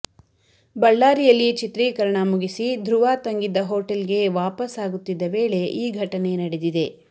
ಬಳ್ಳಾರಿಯಲ್ಲಿ ಚಿತ್ರೀಕರಣ ಮುಗಿಸಿ ಧ್ರುವ ತಂಗಿದ್ದ ಹೋಟೆಲ್ ಗೆ ವಾಪಾಸ್ ಆಗುತ್ತಿದ್ದ ವೇಳೆ ಈ ಘಟನೆ ನಡೆದಿದೆ